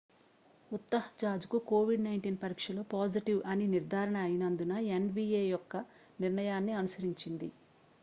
utah jazzకు covid-19 పరీక్షలో positive అని నిర్ధారణ అయినందున nba యొక్క నిర్ణయాన్ని అనుసరించింది